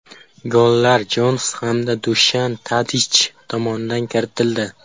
Gollar Jonas hamda Dushan Tadich tomonidan kiritildi.